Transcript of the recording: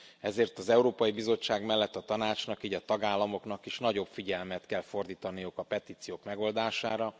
Ezért az Európai Bizottság mellett a Tanácsnak, így a tagállamoknak is nagyobb figyelmet kell fordítaniuk a petíciók megoldására.